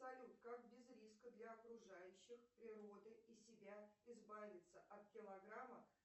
салют как без риска для окружающих природы и себя избавиться от килограммов